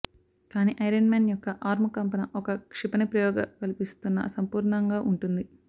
కానీ iron man యొక్క arm కంపన ఒక క్షిపణి ప్రయోగ కల్పిస్తున్న సంపూర్ణంగా ఉంటుంది